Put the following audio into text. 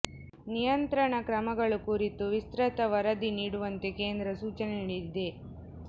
ನಿಯಂತ್ರಣ ಕ್ರಮಗಳು ಕುರಿತು ವಿಸ್ತ್ರತ ವರದಿ ನೀಡುವಂತೆ ಕೇಂದ್ರ ಸೂಚನೆ ನೀಡಿದೆ